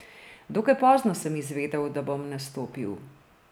Dokaj pozno sem izvedel, da bom nastopil.